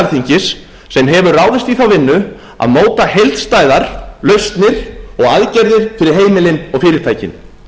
alþingis sem hefur ráðist í þá vinnu að móta heildstæðar lausnir og aðgerðir fyrir heimilin og fyrirtækin